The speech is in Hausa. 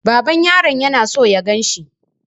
Baban yaron yana so ya ganshi.